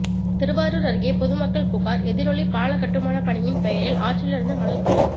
திருவாரூர் அருகே பொதுமக்கள் புகார் எதிரொலி பால கட்டுமான பணியின் பெயரில் ஆற்றிலிருந்து மணல் கொள்ளை